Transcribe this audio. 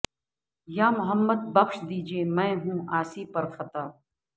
یا محمد بخش دیجئے میں ہوں عاصی پر خطا